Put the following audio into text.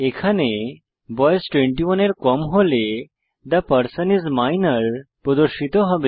এখানে বয়স 21 এর কম হলে থে পারসন আইএস মাইনর প্রদর্শিত হবে